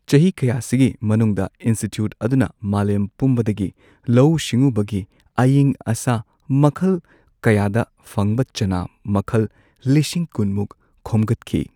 ꯆꯍꯤ ꯀꯌꯥꯁꯤꯒꯤ ꯃꯅꯨꯡꯗ, ꯏꯟꯁꯇꯤꯇ꯭ꯌꯨꯠꯑꯗꯨꯅ ꯃꯥꯂꯦꯝ ꯄꯨꯝꯕꯗꯒꯤ ꯂꯧꯎ ꯁꯤꯡꯎꯕꯒꯤ ꯑꯌꯤꯡ ꯑꯁꯥ ꯃꯈꯜ ꯀꯌꯥꯗ ꯐꯪꯕ ꯆꯅꯥ ꯃꯈꯜ ꯂꯤꯁꯤꯡ ꯀꯨꯟ ꯃꯨꯛ ꯈꯣꯝꯒꯠꯈꯤ꯫